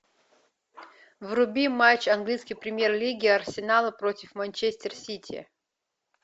вруби матч английской премьер лиги арсенала против манчестер сити